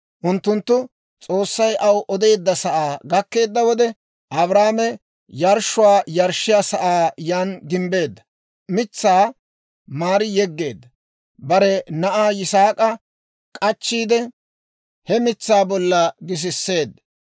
Unttunttu S'oossay aw odeedda sa'aa gakkeedda wode, Abrahaame yarshshuwaa yarshshiyaa sa'aa yan gimbbiide, mitsaa maari yeggeedda; bare na'aa Yisaak'a k'achchiide, he mitsaa bollan gisiseedda.